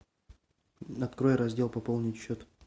открой раздел пополнить счет